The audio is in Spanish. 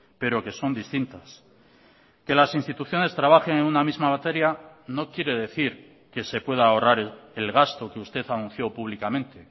pero que son distintas que las instituciones trabajen en una misma materia no quiere decir que se pueda ahorrar el gasto que usted anunció públicamente